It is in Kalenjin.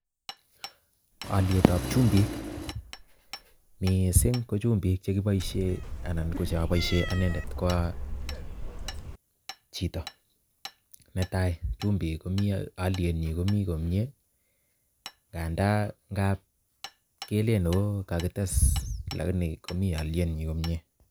Oliet ab chumbik miising ko chumbik chegiboisie anan ko choboisie anendet kooo chito netai chumbik ko olienyin komii komyee ngandaa kab kelee ooh kagites komii olienyin komyee.